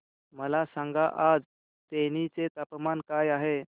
मला सांगा आज तेनी चे तापमान काय आहे